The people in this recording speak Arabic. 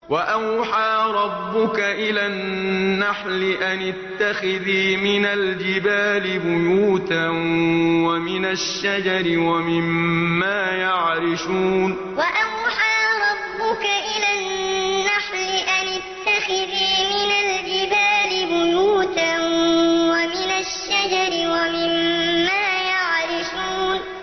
وَأَوْحَىٰ رَبُّكَ إِلَى النَّحْلِ أَنِ اتَّخِذِي مِنَ الْجِبَالِ بُيُوتًا وَمِنَ الشَّجَرِ وَمِمَّا يَعْرِشُونَ وَأَوْحَىٰ رَبُّكَ إِلَى النَّحْلِ أَنِ اتَّخِذِي مِنَ الْجِبَالِ بُيُوتًا وَمِنَ الشَّجَرِ وَمِمَّا يَعْرِشُونَ